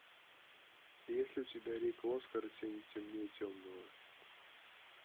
есть ли у тебя рико оскар и тени темнее темного